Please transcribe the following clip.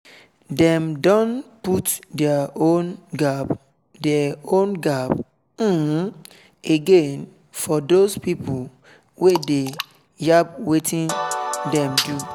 dem don put deir own gap deir own gap um again for dos pipo wey dey yab wetin dem do